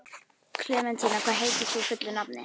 Klementína, hvað heitir þú fullu nafni?